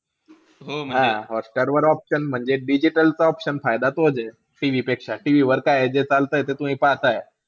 हां हॉटस्टारवर option म्हणजे, digital चा option फायदा तोचे, TV पेक्षा. TV वर काये जे चालतंय ते तुम्ही पाहताय.